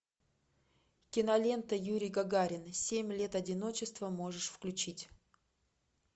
кинолента юрий гагарин семь лет одиночества можешь включить